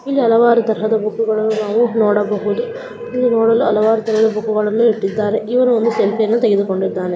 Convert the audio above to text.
ಇಲ್ಲಿ ಹಲವಾರು ತರದ ಬುಕ್ಕಗಳನ್ನು ನಾವು ನೋಡಬಹುದು ಇಲ್ಲಿ ನೋಡಲು ಹಲವಾರು ತರದ ಬುಕ್ಕ ಗಳನ್ನು ಇಟ್ಟಿದ್ದಾರೆ ಇವರು ಒಂದು ಸೆಲ್ಫಿ ಯನ್ನು ತೆಗೆದುಕೊಳ್ಳುತ್ತಿದ್ದಾರೆ.